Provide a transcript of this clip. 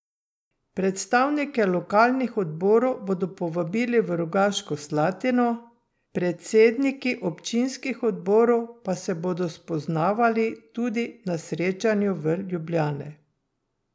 Predstavnike lokalnih odborov bodo povabili v Rogaško Slatino, predsedniki občinskih odborov pa se bodo spoznavali tudi na srečanju v Ljubljani.